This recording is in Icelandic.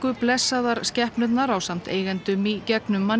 blessaðar skepnurnar ásamt eigendum í gegnum